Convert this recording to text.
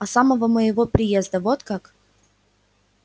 а самого дня моего приезда вот как